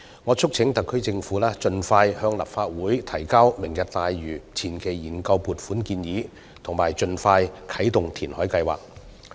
我促請特區政府盡快向立法會提交"明日大嶼願景"的前期研究撥款建議，並盡快啟動填海計劃。